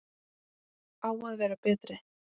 Á að vera betri.